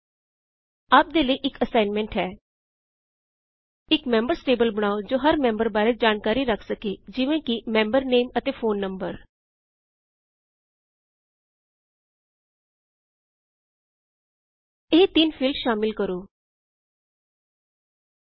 ਆਪ ਦੇ ਲਈ ਇਕ ਅੱਸਾਇਨਸੈਨਟ ਹੈ ਇਕ ਮੈਮਬਰਜ਼ ਟੇਬਲ ਬਨਾਓ ਜੋ ਹਰ ਮੈਮਬਰ ਬਾਰੇ ਜਾਨਕਾਰੀ ਰਖ ਸਕੇ ਜਿਵੇਂ ਕੀ ਮੈਮਬਰ ਨੇਮ ਅਤੇ ਫੋਨ ਨਮਬਰ ਇਹ ਤਿਨ ਫੀਲਡ ਸ਼ਾਮਿਲ ਕਰੋ 1